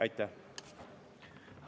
Aitäh!